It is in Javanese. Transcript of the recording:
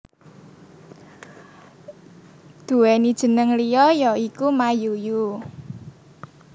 Duwéni jénéng liya ya iku Mayuyu